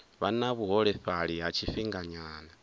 vha na vhuholefhali ha tshifhinganyana